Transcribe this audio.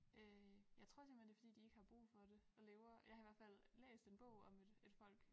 Øh jeg tror simpelthen det fordi de ikke har brug for det og lever jeg har i hvert fald læst en bog om et et folk